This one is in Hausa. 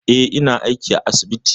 Eh, ina aiki a asibiti.